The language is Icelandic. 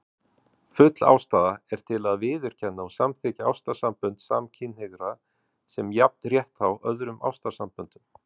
Full ástæða er til að viðurkenna og samþykkja ástarsambönd samkynhneigðra sem jafnrétthá öðrum ástarsamböndum.